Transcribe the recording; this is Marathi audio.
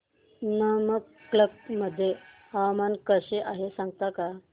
नमक्कल मध्ये हवामान कसे आहे सांगता का